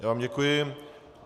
Já vám děkuji.